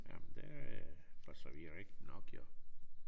Jamen det for så vidt rigtigt nok jo